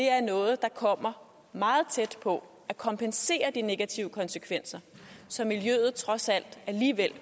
er noget der kommer meget tæt på at kompensere for de negative konsekvenser så miljøet trods alt